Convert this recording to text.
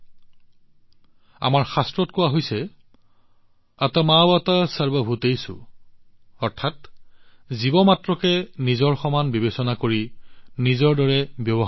এইটো আমাৰ শাস্ত্ৰত কোৱা হৈছে আত্মৱৎ সৰ্বভূতেষু অৰ্থাৎ আমি কেৱল জীৱক নিজৰ দৰে বিবেচনা কৰিব লাগে নিজৰ দৰে আচৰণ কৰিব লাগে